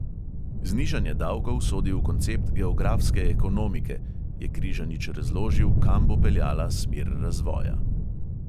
"Znižanje davkov sodi v koncept geografske ekonomike," je križanič razložil, kam bo peljala smer razvoja.